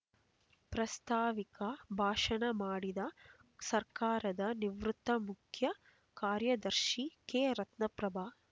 ಪ್ರಾಸ್ತಾವಿಕ ಭಾಷಣ ಮಾಡಿದ ಸರ್ಕಾರದ ನಿವೃತ್ತ ಮುಖ್ಯ ಕಾರ್ಯದರ್ಶಿ ಕೆ ರತ್ನಪ್ರಭಾ